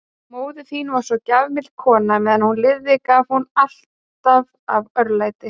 Móðir þín var svo gjafmild kona, meðan hún lifði gaf hún alltaf af örlæti.